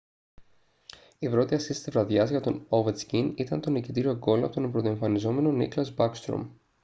η πρώτη ασίστ της βραδιάς για τον ovechkin ήταν το νικητήριο γκολ από τον πρωτοεμφανιζόμενο nicklas backstrom